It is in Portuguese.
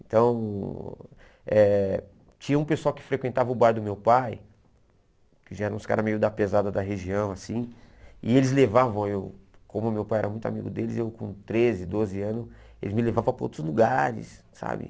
Então, eh tinha um pessoal que frequentava o bar do meu pai, que já eram uns caras meio da pesada da região, assim, e eles levavam eu, como meu pai era muito amigo deles, eu com treze, doze anos, eles me levavam para outros lugares, sabe?